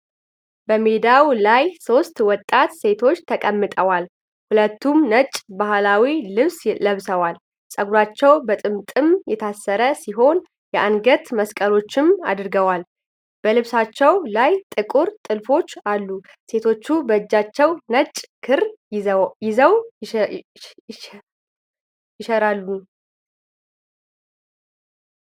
በሜዳ ላይ ሦስት ወጣት ሴቶች ተቀምጠዋል። ሁሉም ነጭ ባህላዊ ልብስ ለብሰዋል። ፀጉራቸው በጥምጥም የታሰረ ሲሆን የአንገት መስቀሎችንም አድርገዋል። በልብሳቸው ላይ ጥቁር ጥልፎች አሉ። ሴቶቹ በእጃቸው ነጭ ክር ይዘው ይሽራሉን?